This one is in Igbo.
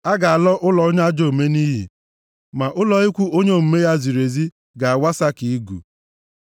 A ga-ala ụlọ onye ajọ omume nʼiyi, ma ụlọ ikwu onye omume ya ziri ezi ga-awasa ka igu.